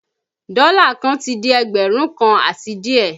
Dọ́là kan ti di ẹgbẹ̀rún kan àti díè